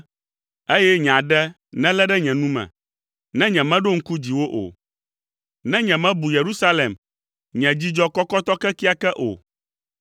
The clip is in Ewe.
eye nye aɖe nelé ɖe nye nu me, ne nyemeɖo ŋku dziwò o, ne nyemebu Yerusalem, nye dzidzɔ kɔkɔtɔ kekeake o.